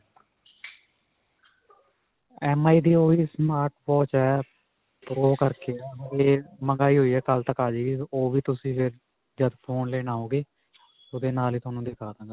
MI ਦੀ ਓਹੀ smart watch ਹੈ. pro ਕਰਕੇ ਹੈ. ਇਹ ਮੰਗਾਈ ਹੋਈ ਹੈ. ਕੱਲ ਤੱਕ ਆ ਜਾਵੇਗੀ. ਓਹ ਵੀ ਤੁਸੀਂ ਫਿਰ ਜੱਦ phone ਲੈਣ ਆਓਗੇ ਓਹਦੇ ਨਾਲ ਹੀ ਤੁਹਾਨੂੰ ਦਿਖਾ ਦਵਾਂਗੇ.